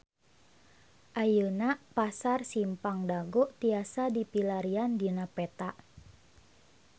Ayeuna Pasar Simpang Dago tiasa dipilarian dina peta